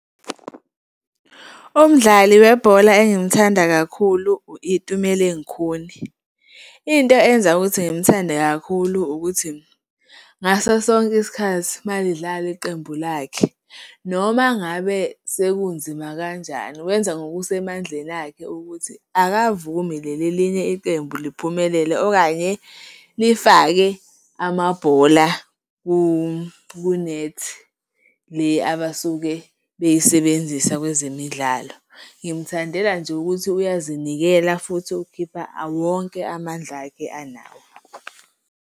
Umdlali webhola engimthanda kakhulu u-Itumeleng Khune. Into eyenza ukuthi ngimthande kakhulu ukuthi, ngaso sonke isikhathi uma lidlala iqembu lakhe noma ngabe sekunzima kanjani, wenza ngokusemandleni akhe ukuthi akavumi leli elinye iqembu liphumelele okanye lifake amabhola kunethi le abasuke beyisebenzisa kwezemidlalo. Ngimthandela nje ukuthi uyazinikela futhi ukhipha wonke amandla akhe anawo.